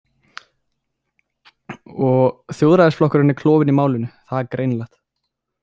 Og Þjóðræðisflokkurinn er klofinn í málinu, það er greinilegt.